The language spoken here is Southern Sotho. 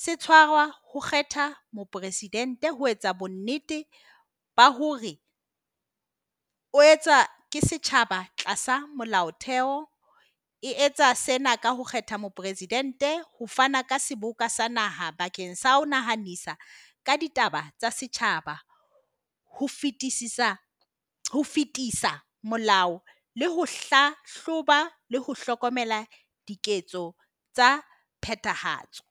se tshwarwa ho kgetha moporesidente ho etsa bonnete ba hore o etsa ke setjhaba tlasa molaotheo, e etsa sena ka ho kgetha moporesidente ho fana ka seboka sa naha bakeng sa ho nahanisa ka ditaba tsa setjhaba, ho fetisisa ho fetisa molao le ho hlahloba le ho hlokomela diketso tsa phethahatso.